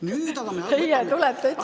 Teie tulete seda ütlema!